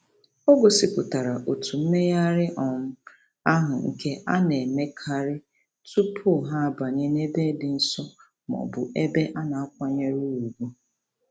O gosipụtara otu mmegharị um ahụ nke a na-emekarị tụpụ ha banye n'ebe dị nsọ mọọbụ ebe a na-akwanyere ùgwù.